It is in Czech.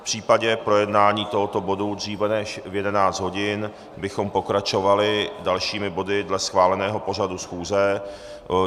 V případě projednání tohoto bodu dříve než v 11 hodin bychom pokračovali dalšími body dle schváleného pořadu schůze.